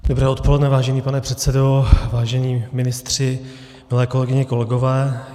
Dobré odpoledne, vážený pane předsedo, vážení ministři, milé kolegyně, kolegové.